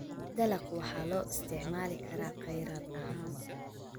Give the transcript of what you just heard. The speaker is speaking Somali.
Dalagga waxaa loo isticmaali karaa kheyraad ahaan.